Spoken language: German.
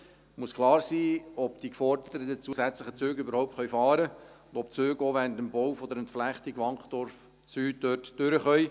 Es muss klar sein, ob die geforderten zusätzlichen Züge überhaupt fahren können und ob die Züge auch während des Baus der Entflechtung Wankdorf Süd dort durchfahren können.